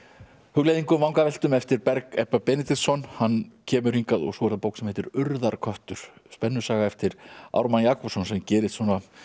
hugleiðingum vangaveltum eftir Berg Ebba Benediktsson hann kemur hingað svo er það bók sem heitir urðarköttur spennusaga eftir Ármann Jakobsson sem gerist